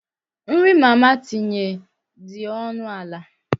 Nri mama tinye nri dị ọnụ ala.